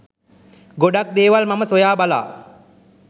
ගොඩක් දේවල් මම සොයා බලා